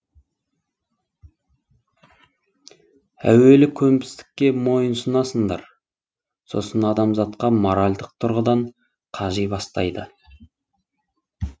әуелі көнбістікке мойынсұнасыңдар сосын адамзат моральдық тұрғыдан қажи бастайды